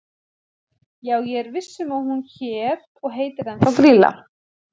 Já ég er viss um að hún hét og heitir ennþá Grýla.